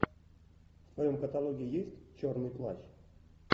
в твоем каталоге есть черный плащ